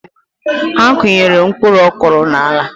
Ha akụnyere mpkuruokoro n’ala